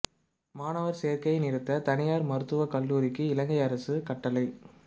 மாணவர் சேர்க்கையை நிறுத்த தனியார் மருத்துவ கல்லூரிக்கு இலங்கை அரசு கட்டளை